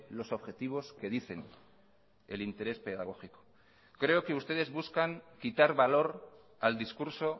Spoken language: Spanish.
los objetivos que dicen el interés pedagógico creo que ustedes buscan quitar valor al discurso